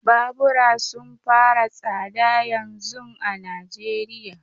Babura sun fara tsada yanzun a Najeriya.